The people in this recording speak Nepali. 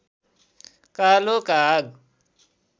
कालो काग